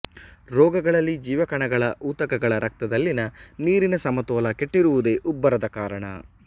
ರೋಗಗಳಲ್ಲಿ ಜೀವಕಣಗಳ ಊತಕಗಳ ರಕ್ತದಲ್ಲಿನ ನೀರನ ಸಮತೋಲ ಕೆಟ್ಟಿರುವುದೇ ಉಬ್ಬರದ ಕಾರಣ